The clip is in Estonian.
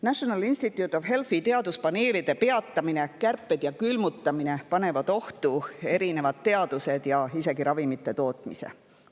National Institutes of Healthi teaduspaneelide peatamine, kärped ja külmutamine panevad ohtu erinevad teadused ja isegi ravimite tootmise.